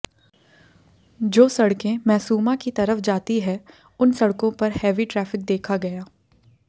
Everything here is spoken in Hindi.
जो सड़के मैसूमा की तरफ जाती है उन सड़कों पर हेवी ट्रैफिक देखा गया